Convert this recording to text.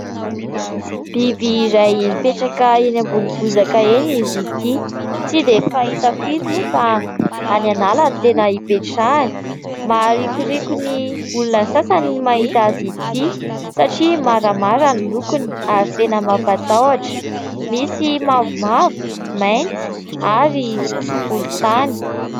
Biby iray mipetraka eny ambony bozaka eny izy ity. Tsy dia fahita firy moa fa any an'ala no tena hipetrahany. Maharikoriko ny olona sasany ny mahita azy ity satria maramara ny lokony ary tena mampatahotra. Misy mavomavo mainty ary volon-tany.